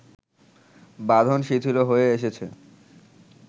বাঁধন শিথিল হয়ে এসেছে